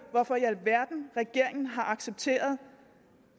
hvorfor i alverden regeringen har accepteret